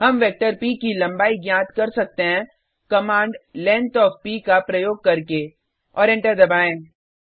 हम वेक्टर प की लम्बाई ज्ञात कर सकते हैं कमांड लेंग्थ ओएफ प का प्रयोग करके और एंटर दबाएँ